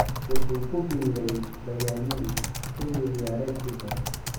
Wuxuu ku biiray Bayern Munich xilli ciyaareedkii hore.